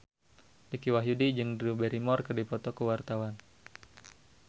Dicky Wahyudi jeung Drew Barrymore keur dipoto ku wartawan